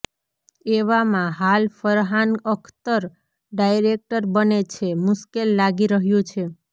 એવામાં હાલ ફરહાન અખ્તર ડાયરેક્ટર બને છે મુશ્કેલ લાગી રહ્યું છે